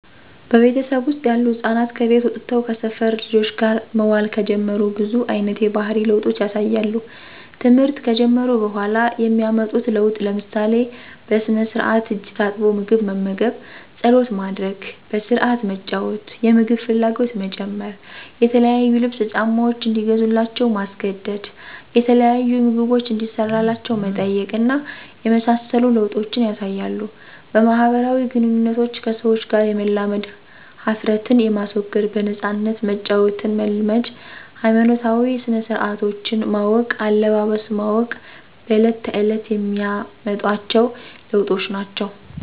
በቤተሰቤ ወስጥ ያሉ ህፃናት ከቤት ወጥተው ከሰፈር ልጆች ጋር መዋል ከጀመሩ ብዙ አይነት የባህሪ ለውጦች ያሳያሉ። ተምህርት ከጀመሩ በኋላ የሚያመጡት ለውጥ ለምሳሌ፦ በስነስራአት እጅ ታጥቦ ምግብ መመገብ፣ ፀሎት ማድረግ፣ በስረአት መጫዎት፣ የምግብ ፍላጎት መጨመር፣ የተለያዩ ልብስ፣ ጫማዎች እንዲገዙላቸው ማስገደድ፣ የተለያዩ ምግቦችን እንዲሰራላቸው መጠየቅ እና የመሳሰሉ ለወጦችን ያሳያሉ። በማህበራዊ ግንኙነቶች ከሰዎች ጋር የመላመድ፣ ሀፍረትን የማስወገድ፣ በነፃነት መጫወትን መልመድ ሀይማኖታዊ ስነስረአቶችን ማወቅ፣ አለባበስ ማወቅ በለት ተእለት የሚያመጧቸዎ ለዎጦች ናቸው።